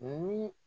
Ni